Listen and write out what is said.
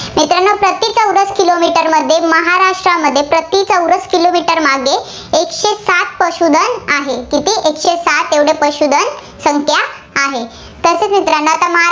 kilometer मध्ये. महाराष्ट्रामध्ये प्रति चौरस kilometer मागे एकशे साठा पशूधन आहे. किती एकशे साठ एवढे पशूधन संख्या आहे. तसेच मित्रांनो